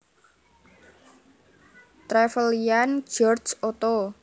Trevelyan George Otto